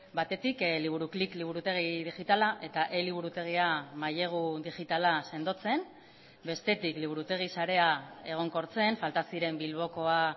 batetik liburuklik liburutegi digitala eta eliburutegia mailegu digitala sendotzen bestetik liburutegi sarea egonkortzen falta ziren bilbokoa